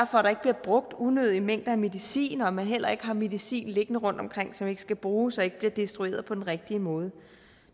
for at der ikke bliver brugt unødige mængder af medicin og at man heller ikke har medicin liggende rundt omkring som ikke skal bruges og som ikke bliver destrueret på den rigtige måde